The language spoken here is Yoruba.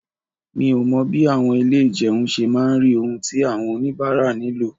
Mi ò mọ bí àwọn ilé ìjẹun ṣe máa rí ohun tí àwọn oníbàárà nílò.